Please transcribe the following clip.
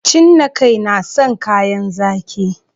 Cinnakai na san kayan zaƙi